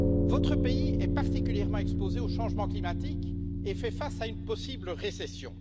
Votre pays est particulièrement exposé au changement climatique et fait face à une possible récession.